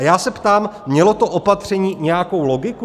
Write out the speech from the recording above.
A já se ptám - mělo to opatření nějakou logiku?